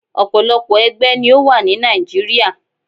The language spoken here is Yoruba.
Òpòlopò ẹgbẹ́ ni ó wà ni Nigeria.